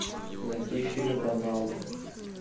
найти фильм роналду